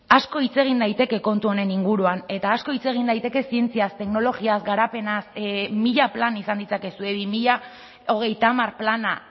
asko hitz egin daiteke kontu honen inguruan eta asko hitz egin daiteke zientziaz teknologiaz garapenaz mila plan izan ditzakezue bi mila hogeita hamar plana